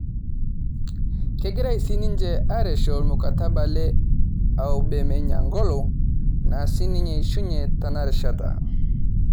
Kegirae sininye araesho ormukataba le aubemeyang'olo naa sininye aishunye tena rishata